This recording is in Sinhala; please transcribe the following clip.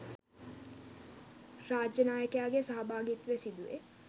රාජ්‍ය නායකයාගේ සහභාගිත්වය සිදුවේ.